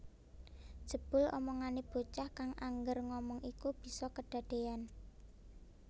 Jebul omongane bocah kang angger ngomong iku bisa kedadean